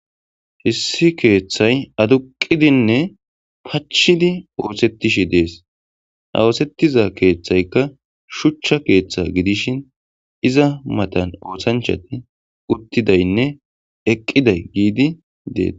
Issi keeththay aduqqidinne pachchidi ooseththishe dees; ha ooseththiza keeththaykka shuchcha keeththa gidishin iza mathan oosanchchathi uththidaynne eqqiday yiidi dee.